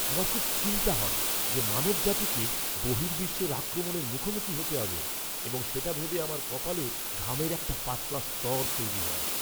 আমার খুব চিন্তা হয় যে মানবজাতিকে বহির্বিশ্বের আক্রমণের মুখোমুখি হতে হবে এবং সেটা ভেবে আমার কপালে ঘামের একটা পাতলা স্তর তৈরি হয়!